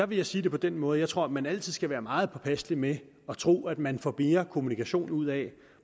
vil jeg sige det på den måde at jeg tror at man altid skal være meget påpasselig med at tro at man får mere kommunikation ud af